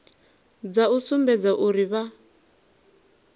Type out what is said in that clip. dza u sumbedza uri vha